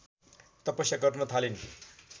तपस्या गर्न थालिन्